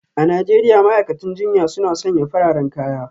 A Najeriya ma'aikatan jinya suna sanya fararen kaya